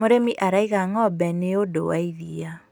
mũrĩmi araiga ng'ombe nĩũndũ wa iria